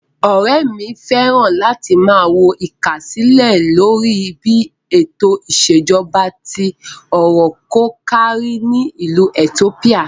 Ọ̀rẹ́ mi fẹ́ràn láti máa wo ìkásílẹ̀ lórí bí ètò ìṣèjọba tí ọrọ̀ kò kárí ni ìlú itiópíà.